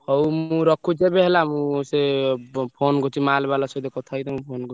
ହଉ ମୁଁ ରଖୁଚି ଏବେ ହେଲା ମୁଁ ସେ phone କରୁଚି mall ବାଲା ସହିତ କଥା ହେଇକି ତମକୁ phone କରୁଚି।